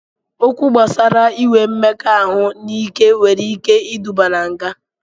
Okwu gbasara inwe mmekọahụ n'ike nwere ike iduba na nga